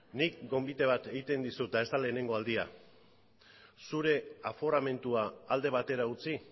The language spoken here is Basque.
nik gonbite bat egiten dizut eta ez da lehenengo aldia zure aforamentua alde batera utzi